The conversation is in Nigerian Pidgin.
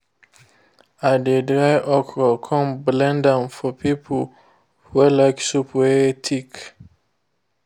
i dey dry okro come blend am for people wey like soup wey thick